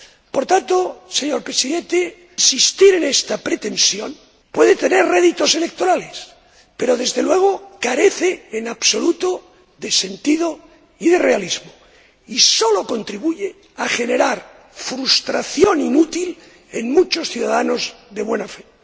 Por tanto, señor Presidente, insistir en esta pretensión puede tener réditos electorales, pero, desde luego, carece en absoluto de sentido y de realismo, y sólo contribuye a generar frustración inútil en muchos ciudadanos de buena fe.